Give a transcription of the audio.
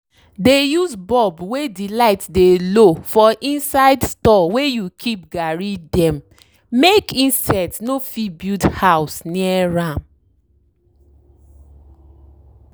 dey use bulb wey de light dey low for inside store wey you keep garri dem make insect no fit build house near am.